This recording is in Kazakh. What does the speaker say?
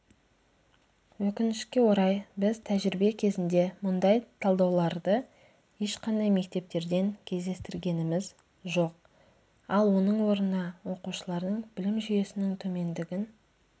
өкінішке орай біз тәжірибе кезінде мұндай талдауларды ешқандай мектептерден кездестіргеніміз жоқ ал оның орнына оқушылардың білім жүйесінің төмендігін